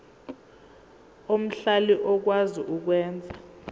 omhlali okwazi ukwenza